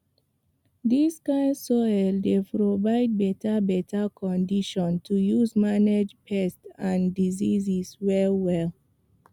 dis kind soil dey provide beta beta condition to use manage pest and disease well well